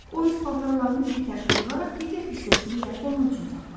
O öz paltarlarını bir tərəfə yığaraq digər hissəsini də onun üçün saxladı.